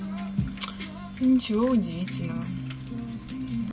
ничего удивительного